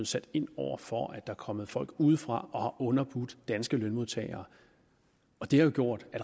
sat ind over for at er kommet folk ind udefra og har underbudt danske lønmodtagere det har jo gjort at